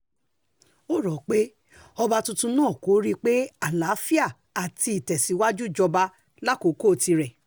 ó rò pé ọba tuntun náà pé kó rí i pé àlàáfíà àti ìtẹ̀síwájú jọba lákòókò tirẹ̀